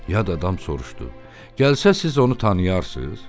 Yad adam soruşdu: "Gəlsə siz onu tanıyarsınız?"